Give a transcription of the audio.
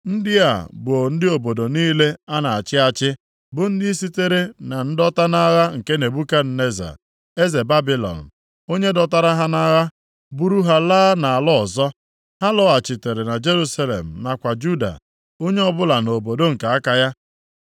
Ndị a bụ ndị obodo niile a na-achị achị, bụ ndị sitere na ndọta nʼagha nke Nebukadneza, eze Babilọn, onye dọtara ha nʼagha buru ha laa nʼala ọzọ. Ha lọghachitere na Jerusalem nakwa Juda, onye ọbụla nʼobodo nke aka ya.